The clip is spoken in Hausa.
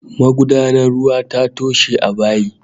Magudanar ruwa ta toshe a bayi